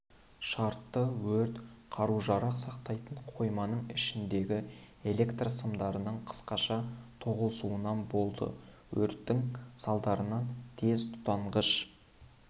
шартты өрт қару-жарақ сақтайтын қойманың ішіндегі электр сымдарының қысқаша тоғысуынан болды өрттің салдарынан тез тұтанғыш